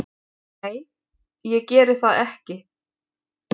Nei, ég geri það ekki